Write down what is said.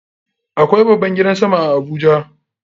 Akwai babban gidan sama a Abuja.